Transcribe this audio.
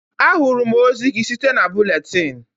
Ahụrụm ozi gị site na buletin.